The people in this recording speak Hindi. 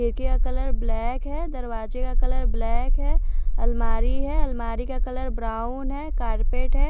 खिड़की का कलर ब्लैक है दरवाजे का कलर ब्लैक है अलमारी है अलमारी का कलर ब्राउन है कारपेट है।